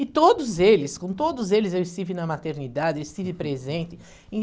E todos eles, com todos eles eu estive na maternidade, estive presente. E...